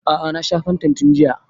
A'a na sha fantan tun jiya